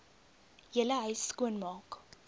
hele huis skoonmaak